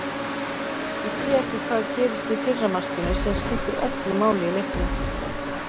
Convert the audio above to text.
Ég sé ekki hvað gerist í fyrra markinu sem skiptir öllu máli í leiknum.